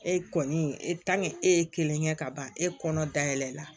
E kɔni e e ye kelen kɛ ka ban e kɔnɔ da yɛlɛ la